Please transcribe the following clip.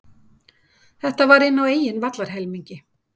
Þetta var inn á eigin vallarhelmingi.